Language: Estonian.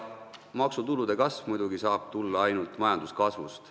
Maksutulude kasv saab tulla muidugi ainult majanduskasvust.